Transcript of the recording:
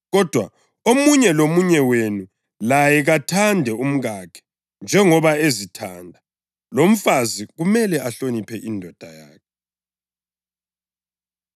Kodwa omunye lomunye wenu laye kathande umkakhe njengoba ezithanda, lomfazi kumele ahloniphe indoda yakhe.